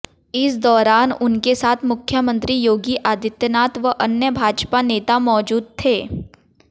इस दौरान उनके साथ मुख्यमंत्री योगी आदित्यनाथ व अन्य भाजपा नेता मौजूद थे